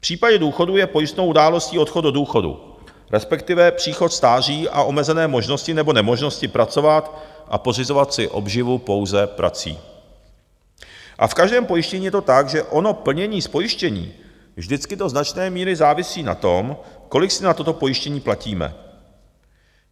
V případě důchodu je pojistnou událostí odchod do důchodu, respektive příchod stáří a omezené možnosti nebo nemožnost pracovat a pořizovat si obživu pouze prací, a v každém pojištění je to tak, že ono plnění z pojištění vždycky do značné míry závisí na tom, kolik si na toto pojištění platíme.